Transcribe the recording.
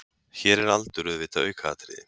Hér er aldur auðvitað aukaatriði.